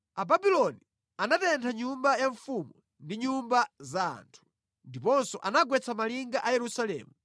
Ababuloni anatentha nyumba ya mfumu ndi nyumba za anthu, ndiponso anagwetsa malinga a Yerusalemu.